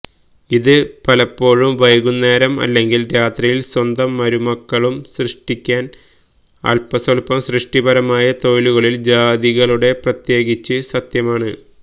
ഇത് പലപ്പോഴും വൈകുന്നേരം അല്ലെങ്കിൽ രാത്രിയിൽ സ്വന്തം മരുമക്കളും സൃഷ്ടിക്കാൻ അൽപസ്വൽപം സൃഷ്ടിപരമായ തൊഴിലുകളിൽ ജാതികളുടെ പ്രത്യേകിച്ച് സത്യമാണ്